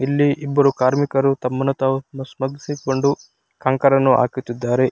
ಇಲ್ಲಿ ಇಬ್ಬರು ಕಾರ್ಮಿಕರು ತಮ್ಮನ್ನು ತಾವು ಹಾಕುತ್ತಿದ್ದಾರೆ .